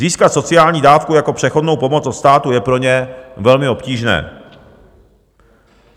Získat sociální dávku jako přechodnou pomoc od státu je pro ně velmi obtížné.